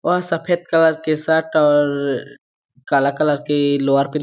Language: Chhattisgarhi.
और सफ़ेद कलर के शर्ट और काला कलर के लोअर --